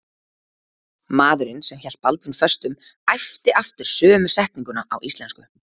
Maðurinn sem hélt Baldvin föstum æpti aftur sömu setninguna á íslensku.